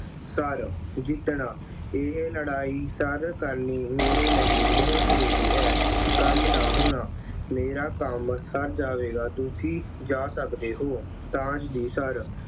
Sir, ਜਿੱਤਣਾ, ਇਹ ਲੜਾਈ ਸਰ ਕਰਨੀ ਮੇਰੇ ਲਈ ਬਹੁਤ ਜ਼ਰੂਰੀ ਹੈ। ਕੰਮ ਦਾ ਹੋਣਾ, ਮੇਰਾ ਕੰਮ ਸਰ ਜਾਵੇਗਾ ਤੁਸੀਂ ਜਾ ਸਕਦੇ ਹੋ। ਤਾਸ਼ ਦੀ ਸਰ